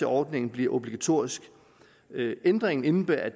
ordningen bliver obligatorisk ændringen indebærer at